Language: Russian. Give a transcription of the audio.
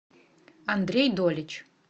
андрей долич